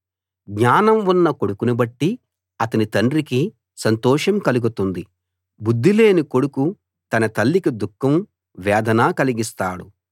జ్ఞానం ఉన్న కొడుకును బట్టి అతని తండ్రికి సంతోషం కలుగుతుంది బుద్ధిలేని కొడుకు తన తల్లికి దుఃఖం వేదన కలిగిస్తాడు